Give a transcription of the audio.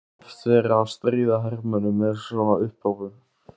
Það var oft verið að stríða hermönnunum með svona upphrópunum.